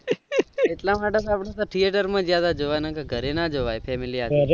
એટલા માટે અમે thretre માં ગયા હતા ઘરે ના જોવાય family હાથે